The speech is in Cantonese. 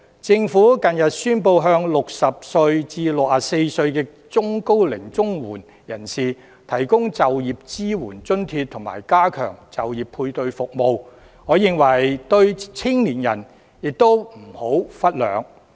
政府近日宣布向60歲至64歲中高齡綜援人士提供就業支援津貼，以及加強就業配對服務，我認為對青年亦不能忽略。